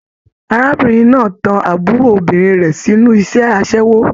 Arábìnrin náà tán àbúrò obìnrin rẹ sínú iṣẹ asẹwo.